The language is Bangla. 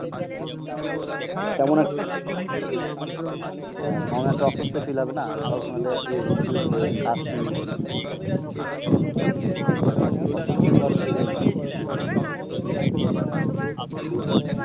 হ্যাঁ কেমন একটা ঝিমানি টাইপ এর লাগে